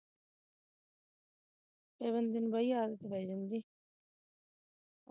ਫਿਰ ਬੰਦੇ ਨੂੰ ਬਈ ਆਦਤ ਪੈ ਜਾਂਦੀ ਐ